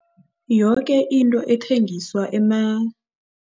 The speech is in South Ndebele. Yoke into ethengiswa